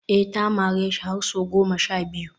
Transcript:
eh ta mareshi har sau goma sha biyu